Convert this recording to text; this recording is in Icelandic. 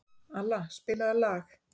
Alla, spilaðu lag.